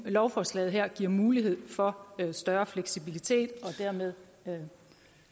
lovforslaget her giver mulighed for større fleksibilitet og dermed